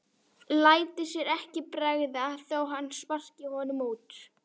Léti sér ekki bregða þó að hann sparkaði honum út.